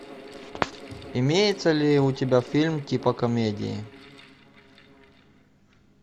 имеется ли у тебя фильм типа комедии